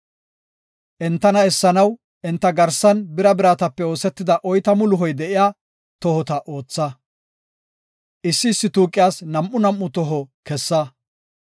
Entana essanaw enta garsan bira biratape oosetida oytamu luhoy de7iya tohota ootha. Issi issi tuuqiyas nam7u nam7u toho kessa.